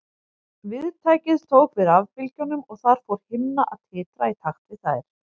Viðtækið tók við rafbylgjunum og þar fór himna að titra í takt við þær.